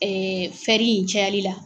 Ɛɛ in cayalila.